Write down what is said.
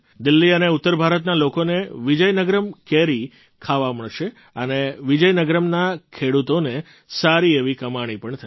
દિલ્લી અને ઉત્તર ભારતના લોકોને વિજયનગરમ્ કેરી ખાવા મળશ અને વિજયનગરમ્ના ખેડૂતોને સારી એવી કમાણી પણ થશે